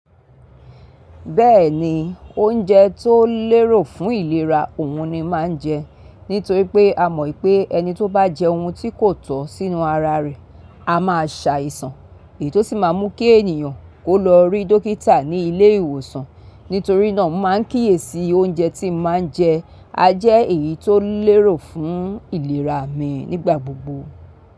Bẹ́ẹ̀ni, oúnjẹ tó lérò fún ìlera òun ni máa ń jẹ. Nítorí pé a mọ̀ pé ẹni tó bá jẹ ohun tí kò tọ̀ sínú ara rẹ̀ a máa ṣàìsàn ètò sì máa mú kí ènìyàn kó lọ rí dókítà ní ilé ìwòsàn. Nítorí náà, máa ń kíyèsi oúnjẹ tí mo máa ń jẹ. A jẹ́ èyí tó lérò fún ìlera mi nígbà gbogbo.